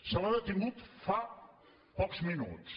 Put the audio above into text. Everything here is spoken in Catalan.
se l’ha detingut fa pocs minuts